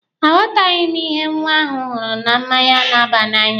A ghọtaghị ihe nwa ahụ hụrụ na mmanya na-aba n'anya.